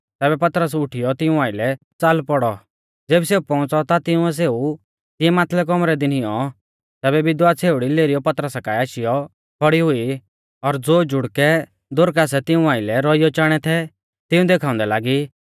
तैबै पतरस उठीयौ तिऊं आइलै च़ाल पौड़ौ ज़ेबी सेऊ पौउंच़ौ ता तिंउऐ सेऊ तिऐ माथलै कौमरै दी निऔं तैबै विधवा छ़ेउड़ी लेरीयौ पतरसा काऐ आशीयौ खौड़ी हुई और ज़ो जुड़कै दोरकासै तिऊं आइलै रौइऔ चाणै थै तिऊं देखाउंदै लागी